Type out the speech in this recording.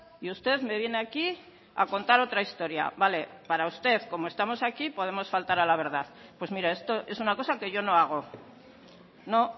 y usted me viene aquí a contar otra historia vale para usted como estamos aquí podemos faltar a la verdad pues mire esto es una cosa que yo no hago no